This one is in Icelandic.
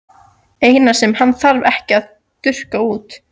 Eina sem hann þarf ekki að þurrka út.